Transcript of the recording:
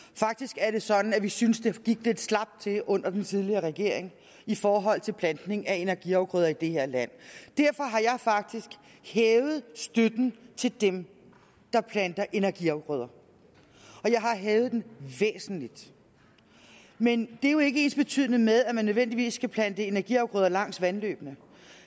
faktisk er det sådan at vi synes at det gik lidt slapt til under den tidligere regering i forhold til plantning af energiafgrøder i det her land derfor har jeg faktisk hævet støtten til dem der planter energiafgrøder og jeg har hævet den væsentligt men det er jo ikke ensbetydende med at man nødvendigvis skal plante energiafgrøder langs vandløbene